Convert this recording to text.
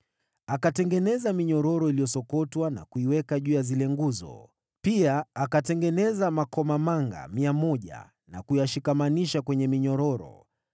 Akatengeneza minyororo iliyosokotwa, na kuiweka juu ya zile nguzo. Pia akatengeneza makomamanga 100, na kuyashikamanisha kwenye minyororo.